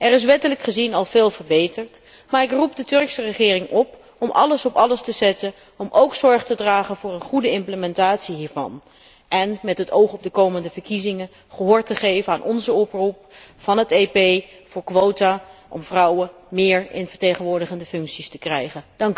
Er is wettelijk gezien al veel verbeterd, maar ik roep de Turkse regering op om alles op alles te zetten om ook zorg te dragen voor een goede implementatie hiervan en met het oog op de komende verkiezingen gehoor te geven aan de oproep van het EP voor quota om meer vrouwen in vertegenwoordigende functies te krijgen.